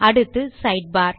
அடுத்து சைட்பார்